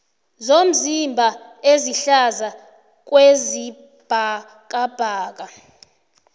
zomzimba ezihlaza kwesibhakabhaka